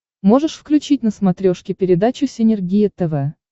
можешь включить на смотрешке передачу синергия тв